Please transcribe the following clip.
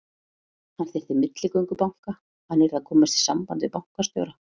Hann þyrfti milligöngu banka, hann yrði að komast í samband við bankastjóra.